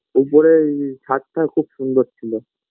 উপরে এ এই ছাদটা খুব সুন্দর ছিল